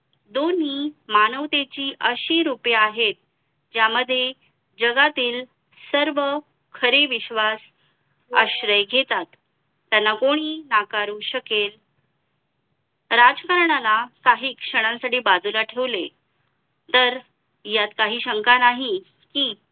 खरे विश्वास आश्रय घेतात त्याला कोणी नाकारू शकेल राजकारणाला काही क्षणासाठी बाजूला ठेवले तर यात काही शंका नाही कि